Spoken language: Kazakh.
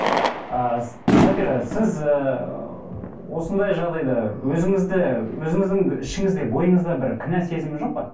а сабира сіз ыыы осындай жағдайда өзіңізді өзіңіздің ішіңізде бойыңызда бір кінә сезімі жоқ па